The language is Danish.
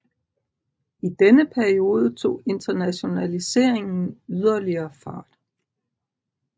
I denne periode tog internationaliseringen yderligere fart